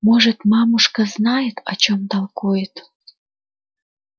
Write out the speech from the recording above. может мамушка и знает о чем толкует